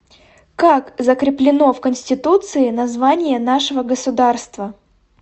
как закреплено в конституции название нашего государства